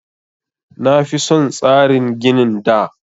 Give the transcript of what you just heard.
Na fi son tsarin ginin da